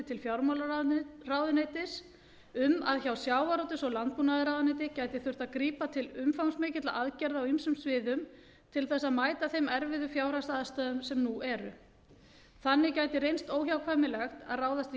til fjármálaráðuneytis um að hjá sjávarútvegs og landbúnaðarráðuneyti gæti þurft að grípa til umfangsmikilla aðgerða á ýmsum sviðum til þess að mæta þeim erfiðu fjárhagsaðstæðum sem nú eru þannig gæti reynst óhjákvæmilegt að ráðast í